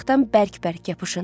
Qayıqdan bərk-bərk yapışın.